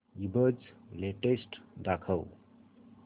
ईबझ लेटेस्ट दाखव